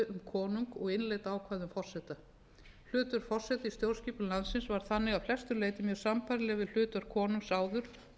konung og innleidd ákvæði um forseta hlutverk forseta í stjórnskipun landsins var þannig að flestu leyti mjög sambærilegt við hlutverk konungs áður